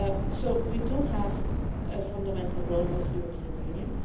So we do have a fundamental role as the European Union.